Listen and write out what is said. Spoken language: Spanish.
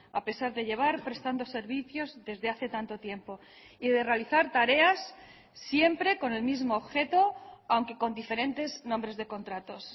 a pesar de llevar prestando servicios desde hace tanto tiempo y de realizar tareas siempre con el mismo objeto aunque con diferentes nombres de contratos